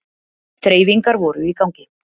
Þreifingar voru í gangi